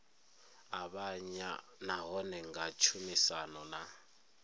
avhanya nahone nga tshumisano na